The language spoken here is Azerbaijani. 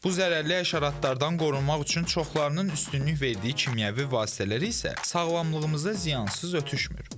Bu zərərli həşəratlardan qorunmaq üçün çoxlarının üstünlük verdiyi kimyəvi vasitələr isə sağlamlığımıza ziyansız ötüşmür.